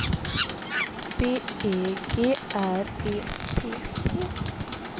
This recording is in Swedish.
B E G R E P P